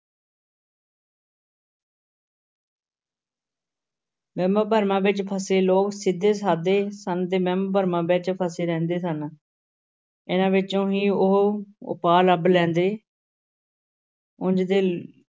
ਵਹਿਮਾਂ ਭਰਮਾਂ ਵਿੱਚ ਫਸੇ ਲੋਕ ਸਿੱਧੇ ਸਾਧੇ ਸਨ ਤੇ ਵਹਿਮ ਭਰਮਾਂ ਵਿੱਚ ਫਸੇ ਰਹਿੰਦੇ ਸਨ ਇਹਨਾਂ ਵਿੱਚੋਂ ਹੀ ਉਹ ਉਪਾਅ ਲੱਭ ਲੈਂਦੇ ਉਞ ਤੇ